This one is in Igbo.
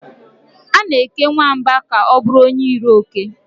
A na-eke nwamba ka ọ bụrụ onye iro oke.